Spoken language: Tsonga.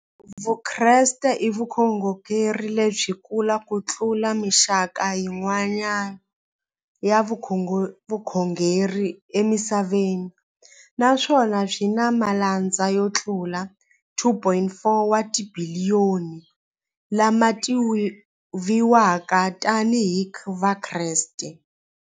Vukreste i vukhongeri lebyi kulu kutlula mixaka hinkwayo ya vukhongeri emisaveni, naswona byi na malandza yo tlula 2.4 wa tibiliyoni, la ma tiviwaka tani hi Vakreste.